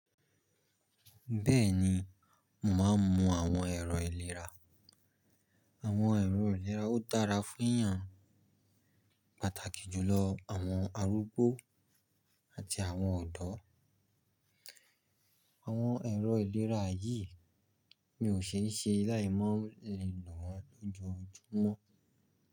Bẹ́ẹ̀ni, mò mọ àwọn ẹ̀rọ ìlera. Àwọn ẹ̀rọ ìlera ó dára fún iyan, pàtàkì jùlọ àwọn arúgbó àti àwọn ọ̀dọ́. Àwọn ẹ̀rọ ìlera yìí mi ò ṣeé ṣe láì mọ le lo won lò jọ júmọ́.